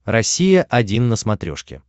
россия один на смотрешке